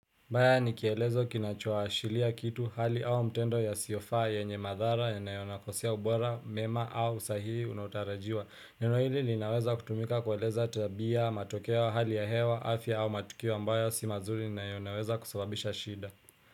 Mbaya ni kielezo kinachoashiria kitu hali au mtendo yasiyofaa yenye madhara yanayokosea ubora, mema au sahihi unaotarajiwa. Neno hili ninaweza kutumika kueleza tabia, matokeo, hali ya hewa, afya au matukiwa ambayo si mazuri na yanaweza kusababisha shida.